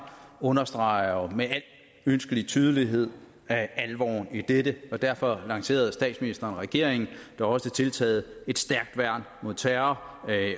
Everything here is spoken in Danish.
understreger jo med al ønskelig tydelighed alvoren i dette og derfor lancerede statsministeren og regeringen da også tiltaget et stærkt værn mod terror